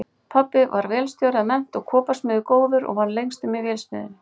Pabbi var vélstjóri að mennt og koparsmiður góður og vann lengstum í vélsmiðjunni